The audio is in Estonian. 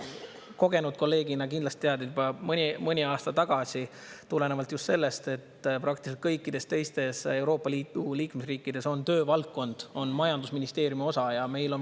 Kogenud kolleegina kindlasti tead, et juba mõni aasta tagasi tulenevalt sellest, et praktiliselt kõikides teistes Euroopa Liidu liikmesriikides on töövaldkond majandusministeeriumi osa ja meil …